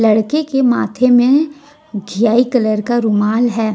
लड़के के माथे में घिआई कलर का रुमाल है।